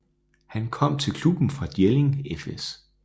Han kom til klubben fra Jelling fS